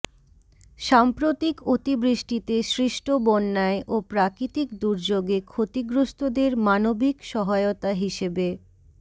সাম্প্রতিক অতি বৃষ্টিতে সৃষ্ট বন্যায় ও প্রাকৃতিক দুর্যোগে ক্ষতিগ্রস্তদের মানবিক সহায়তা হিসেবে